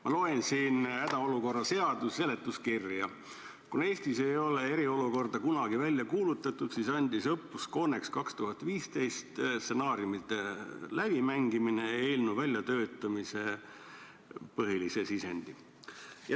Ma loen siin hädaolukorra seaduse seletuskirja: "Kuna Eestis ei ole eriolukorda kunagi välja kuulutatud, siis andis õppuse CONEX 2015 stsenaariumite läbimängimine eelnõu väljatöötamisse olulise sisendi.